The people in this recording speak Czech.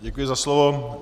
Děkuji za slovo.